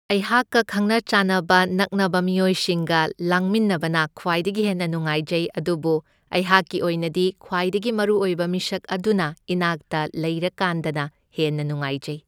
ꯑꯩꯍꯥꯛꯀ ꯈꯪꯅ ꯆꯥꯟꯅꯕ ꯅꯛꯅꯕ ꯃꯤꯑꯣꯏꯁꯤꯡꯒ ꯂꯥꯡꯃꯤꯟꯅꯕꯅ ꯈ꯭ꯋꯥꯏꯗꯒꯤ ꯍꯦꯟꯅ ꯅꯨꯡꯉꯥꯏꯖꯩ ꯑꯗꯨꯕꯨ ꯑꯩꯍꯥꯛꯀꯤ ꯑꯣꯏꯅꯗꯤ ꯈ꯭ꯋꯥꯏꯗꯒꯤ ꯃꯔꯨꯑꯣꯏꯕ ꯃꯤꯁꯛ ꯑꯗꯨꯅ ꯏꯅꯥꯛꯇ ꯂꯩꯔꯀꯥꯟꯗꯅ ꯍꯦꯟꯅ ꯅꯨꯡꯉꯥꯢꯖꯩ꯫